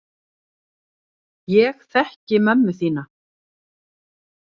Ég þekki mömmu þína.